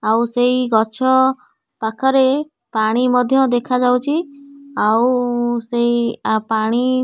ଆଉ ସେଇ ଗଛ ପାଖରେ ପାଣି ମଧ୍ୟ ଦେଖାଯାଉଚି ଆଉ ସେଇ ପାଣି --